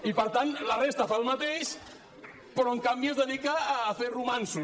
i per tant la resta fa el mateix però en canvi es dedica a fer romanços